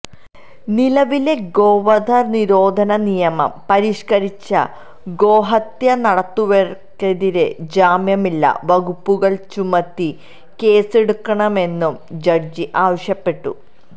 നിലവിലെ ഗോവധ നിരോധന നിയമം പരിഷ്കരിച്ച് ഗോഹത്യ നടത്തുന്നവര്ക്കെതിരെ ജാമ്യമില്ല വകുപ്പുകള് ചുമത്തി കേസെടുക്കണമെന്നും ജഡ്ജി ആവശ്യപ്പെട്ടു